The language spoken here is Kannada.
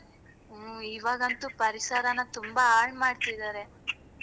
ಹ್ಮ್ ಇವಾಗಂತೂ ಪರಿಸರನ ತುಂಬಾ ಹಾಳ್ಮಾಡ್ತಿದಾರೆ.